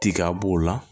Tiga b'o la